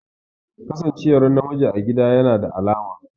Kasancewar namiji a gida yana da alama